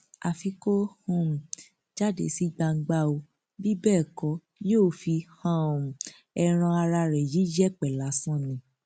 àfi kó um jáde sí gbangba ó bí bẹẹ kọ yóò fi um ẹran ara ẹ yí yẹpẹ lásán ni